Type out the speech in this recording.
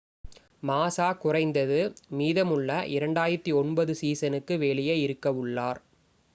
மாஸா குறைந்தது மீதமுள்ள 2009 சீசனுக்கு வெளியே இருக்கவுள்ளார்